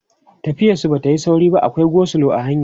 tafiyar su Bata Yi sauri ba akwai go slow a hanya